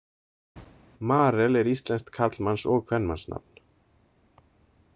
Marel er íslenskt karlmanns- og kvenmannsnafn.